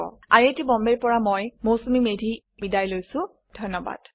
I I T Bombay ৰ পৰা মই মৌচুমী মেধী এতিয়া আপুনাৰ পৰা বিদায় লৈছো যোগদানৰ বাবে ধন্যবাদ